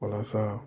Walasa